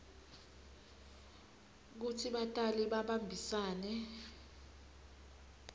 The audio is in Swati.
kutsi batali babambisane